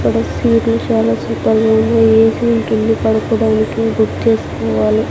ఇక్కడ సీట్లు చాలా సూపర్గా ఉన్నాయి ఏసీ ఉంటుంది పడుకోడానికి బుక్ చేసుకోవాలి.